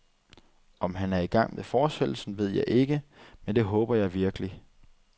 Om han er i gang med fortsættelsen, ved jeg ikke, men det håber jeg virkelig.